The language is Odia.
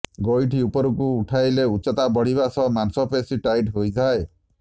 ଗୋଇଠି ଉପରକୁ ଉଠାଇଲେ ଉଚ୍ଚତା ବଢ଼ିବା ସହ ମାଂସପେଶୀ ଟାଇଟ୍ ହୋଇଥାଏ